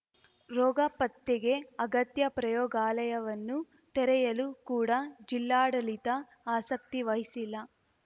ರೋಗ ಪತ್ತೆಗೆ ಅಗತ್ಯ ಪ್ರಯೋಗಾಲಯವನ್ನು ತೆರೆಯಲು ಕೂಡ ಜಿಲ್ಲಾಡಳಿತ ಆಸಕ್ತಿ ವಹಿಸಿಲ್ಲ